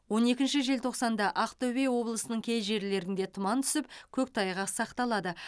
он екінші желтоқсанда ақтөбе облысының кей жерлерінде тұман түсіп көктайғақ сақталады